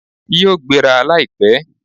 Yíò gbéra láìpẹ́